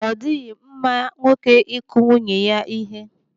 Ọ dịghị mma nwoke ịkụ nwunye ya ihe.